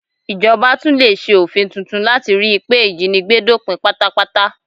Ìjọba tún lè ṣe òfin tuntun láti ríi pé ìjínigbé dópin pátápátá